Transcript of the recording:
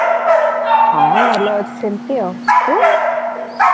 ହଁ ଭଲ ଅଛି ସେମିତି ଆଉ ତୁ